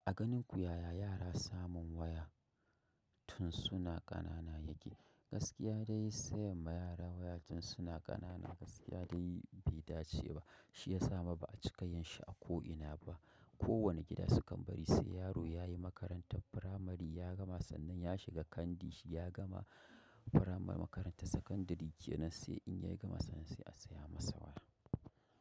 A ganinku yaya yara samun waya tun suna ƙanana yake. Gaskiya dai sayan ma yara waya tun suna ƙanana gaskiya dai bai dace ba. Shi ya sa ma ba a cika yin shi a ko ina ba. Ko wane gida su kan bari sai yaro ya yi makarantar firamare ya gama sannan ya shiga Kandi shi ya gama firamare makarantar sakandare jiya nan sai in ya yi gama sannan sai a saya masa waya.